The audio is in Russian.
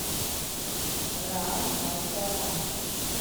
ран вася ран